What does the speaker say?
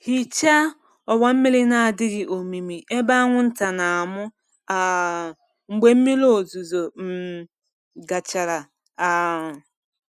Hichaa ọwa mmiri na-adịghị omimi ebe anwụnta na-amụ um mgbe mmiri ozuzo um gachara. um